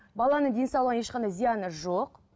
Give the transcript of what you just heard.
баланың денсаулығына ешқандай зияны жоқ